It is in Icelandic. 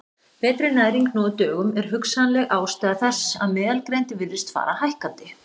Betri næring nú á dögum er hugsanleg ástæða þess að meðalgreind virðist fara hækkandi.